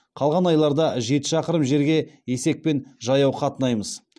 қалған айларда жеті шақырым жерге есекпен жаяу қатынаймыз